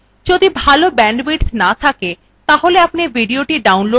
যদি ভাল bandwidth না থাকে তাহলে আপনি ভিডিওটি download করে দেখতে পারেন